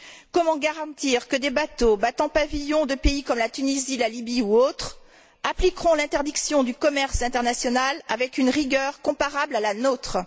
Comment garantir que des bateaux battant pavillon de pays comme la Tunisie, la Lybie ou autres appliqueront l'interdiction du commerce international avec une rigueur comparable à la nôtre?